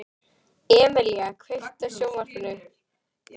Emelía, kveiktu á sjónvarpinu.